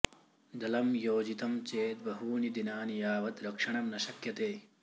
जलं योजितं चेत् बहूनि दिनानि यावत् रक्षणं न शक्यते